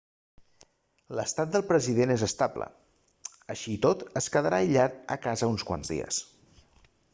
l'estat del president és estable així i tot es quedarà aïllat a casa uns quants de dies